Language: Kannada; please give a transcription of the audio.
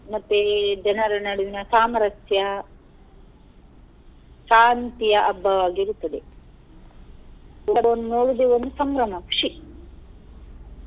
ಮತ್ತೆ ಜನರ ನಡುವಿನ ಸಾಮರಸ್ಯ ಶಾಂತಿಯ ಹಬ್ಬವಾಗಿರುತ್ತದೆ ಈಗ ನೋಡುದೆ ಒಂದು ಸಂಭ್ರಮ ಖುಷಿ.